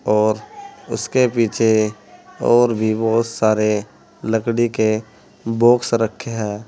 और इसके पीछे और भी बोहोत सारे लकड़ी के बॉक्स रखे हैं।